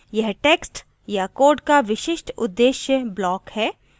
यह text या code का विशिष्टउद्देश्य block है